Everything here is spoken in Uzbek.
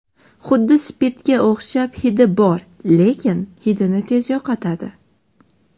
Huddi spirtga o‘xshab hidi bor lekin hidini tez yo‘qotadi.